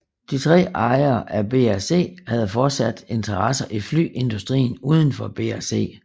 De tre ejere af BAC havde fortsat interesser i flyindustrien uden for BAC